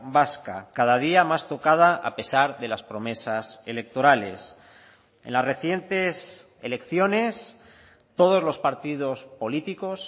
vasca cada día más tocada a pesar de las promesas electorales en las recientes elecciones todos los partidos políticos